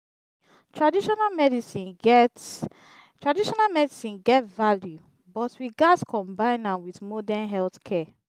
traditional medicine get traditional medicine get value but we gats combine am with modern healthcare.